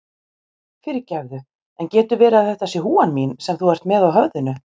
Fyrirgefðu, en getur verið að þetta sé húfan mín sem þú ert með á höfðinu?